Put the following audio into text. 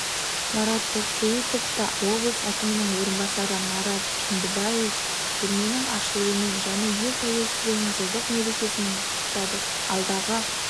марат тоқсейітовты облыс әкімінің орынбасары марат жүндібаев көрменің ашылуымен және ел тәуелсіздігінің жылдық мерекесімен құттықтады алдағы